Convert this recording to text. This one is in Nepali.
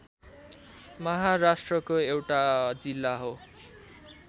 महाराष्ट्रको एउटा जिल्ला हो